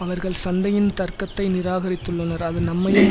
அவர்கள் சந்தையின் தர்க்கத்தை நிராகரித்துள்ளனர் அது நம்மையும்